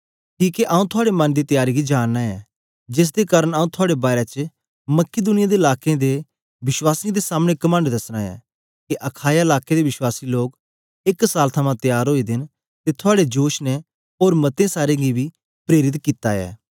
किके आंऊँ थुआड़े मन दी त्यारी गी जाननां ऐ जेसदे कारन आंऊँ थुआड़े बारै च मकिदुनिया दे लाकें दे वश्वासीयें दे सामने कमंड दसना ऐ के अखाया लाके दे विश्वासी लोग एक साल थमां त्यार ओए दे न ते थुआड़े जोश ने ओर मते सारें गी बी प्रेरित कित्ता ऐ